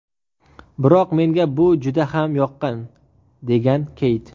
Biroq menga bu juda ham yoqqan”, degan Keyt.